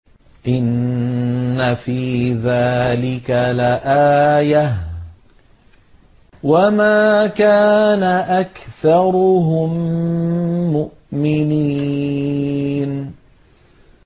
إِنَّ فِي ذَٰلِكَ لَآيَةً ۖ وَمَا كَانَ أَكْثَرُهُم مُّؤْمِنِينَ